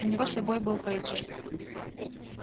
у него с собой был пейджер